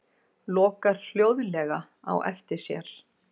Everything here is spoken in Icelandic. Lokar hljóðlega á eftir sér.